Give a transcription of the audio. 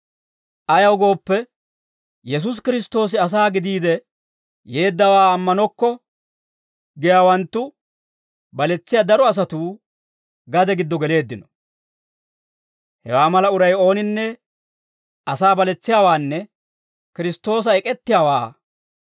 Ayaw gooppe, Yesuusi Kiristtoosi asaa gidiide yeeddawaa ammanokko giyaawanttu, baletsiyaa daro asatuu, gade giddo geleeddino. Hewaa mala uray ooninne asaa baletsiyaawaanne Kiristtoosa ek'ettiyaawaa.